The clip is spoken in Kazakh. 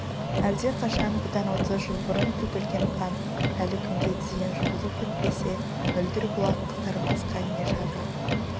әлдеқашан бұдан отыз жыл бұрын төгілген қан әлі күнге дейін жуылып бітпесе мөлдір бұлақ қызармасқа не шара